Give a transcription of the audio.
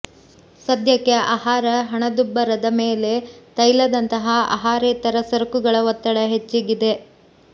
ಸದ್ಯಕ್ಕೆ ಆಹಾರ ಹಣದುಬ್ಬರದ ಮೇಲೆ ತೈಲದಂತಹ ಆಹಾರೇತರ ಸರಕುಗಳ ಒತ್ತಡ ಹೆಚ್ಚಿಗಿದೆ